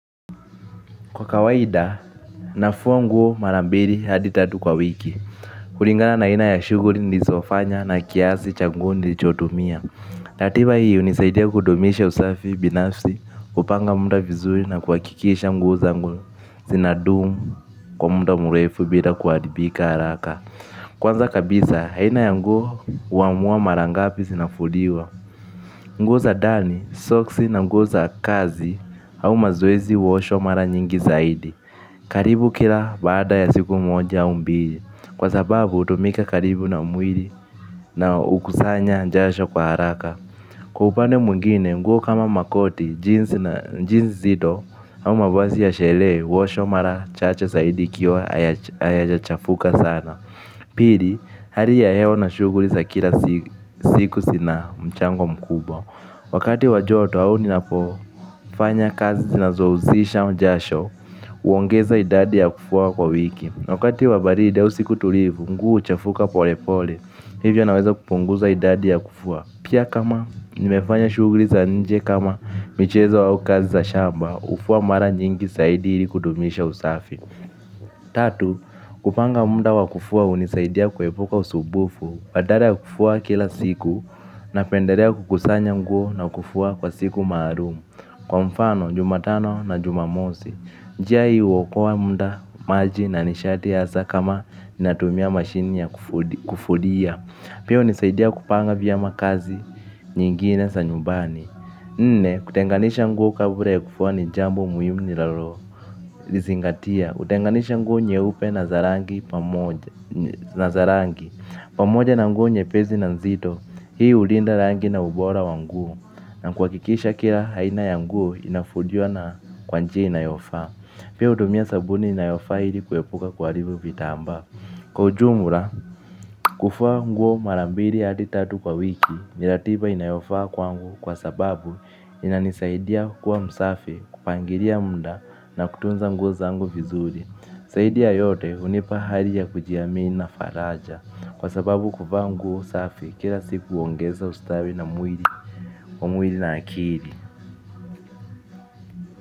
Kwa kawaida, nafua mguo mara mbiri hadi tatu kwa wiki. Kulingala na aina ya shughuri nizofanya na kiasi cha nguo nilichotumia. Ratiba hii hunisaidia kudumisha usafi binafsi, kupanga mda vizuri na kuhakikisha nguo zangu zinadumu kwa mda murefu bila kuharibika haraka. Kwanza kabisa, haina ya nguo huamua mara ngapi zinafuliwa. Nguo za dani, soksi na nguo za kazi au mazoezi huoshwa mara nyingi zaidi. Karibu kila baada ya siku moja au mbili kwa sababu hutumika karibu na mwili na hukusanya jasho kwa haraka. Kwa upande mwingine nguo kama makoti, jinsi zito au mavazi ya sherehe huoshwa mara chache zaidi ikiwa hayajachafuka sana. Pili, hari ya hewa na shughuli za kila siku zina mchango mkubwa. Wakati wa joto au ninapofanya kazi zinazohusisha jasho huongeza idadi ya kufua kwa wiki. Wakati wa baridi au siku tulivu nguo huchafuka pole pole hivyo naweza kupunguza idadi ya kufua. Pia kama nimefanya shughuli za nje kama michezo au kazi za shamba hufua mara nyingi saidi ili kudumisha usafi Tatu, kupanga mda wa kufua hunisaidia kuepuka usubufu, badara ya kufua kila siku napenderea kukusanya nguo na kufua kwa siku maarum. Kwa mfano, jumatano na jumamosi, njia hii huokoa mda, maji na nishati hasa kama natumia mashini ya kufulia. Pia hunisaidia kupanga vyema kazi nyingine za nyumbani. Nne, kutenganisha nguo kabra ya kufua ni jambo muhimu nilalo lizingatia. Hutenganisha nguo nyeupe na za rangi pamoja, na za rangi pamoja na nguo nyepesi na nzito. Hii hulinda rangi na ubora wa nguo na kuhakikisha kila aina ya nguo inafuliwa na kwa njia inayofaa. Pia hutumia sabuni inayofaa ili kuepuka kuharibu vitambaa. Kwa ujumura, kufua nguo mara mbiri hadi tatu kwa wiki. Ni ratiba inayofaa kwangu kwa sababu inanisaidia kuwa msafi, kupangilia mda na kutunza nguo zangu vizuri. Zaidi ya yote hunipa hari ya kujiamini na faraja kwa sababu kuvaa nguo safi kila siku huongeza ustawi na mwili, wa mwili na akiri.